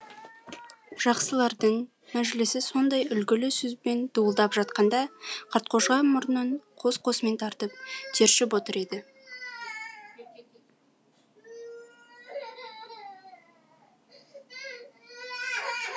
жақсылардың мәжілісі сондай үлгілі сөзбен дуылдап жатқанда қартқожа мұрнын қос қосымен тартып тершіп отыр еді